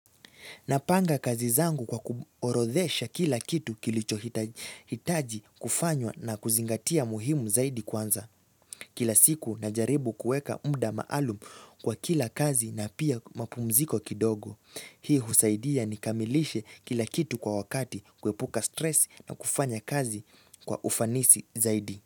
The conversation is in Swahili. Napanga kazi zangu kwa kuorodhesha kila kitu kilichohitaji kufanywa na kuzingatia muhimu zaidi kwanza. Kila siku najaribu kuweka muda maalum kwa kila kazi na pia mapumziko kidogo. Hii husaidia nikamilishe kila kitu kwa wakati, kuepuka stress na kufanya kazi kwa ufanisi zaidi.